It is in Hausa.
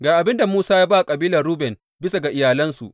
Ga abin da Musa ya ba kabilar Ruben bisa ga iyalansu.